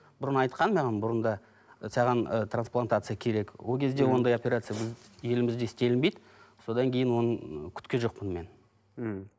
бұрын айтқан маған бұрында ы саған ы трансплантация керек ол кезде ондай операция біз елімізде істелінбейді содан кейін оны күткен жоқпын мен мхм